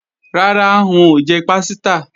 Rárá, n ò jẹ pásítà